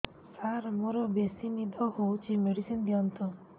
ସାର ମୋରୋ ବେସି ନିଦ ହଉଚି ମେଡିସିନ ଦିଅନ୍ତୁ